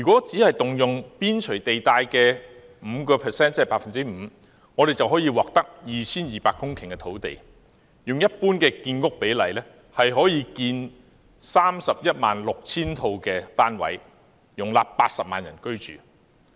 只是動用邊陲地帶的 5%， 便可以獲得 2,200 公頃土地，按照一般的建屋比例，可建 316,000 個單位，容納80萬人居住。